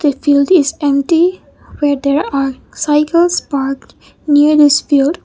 a field is empty where there are cycles parked near the field.